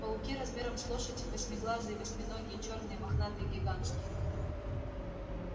пауки размером с лошадь восьмиглазые восьминогие чёрные мохнатые гигантские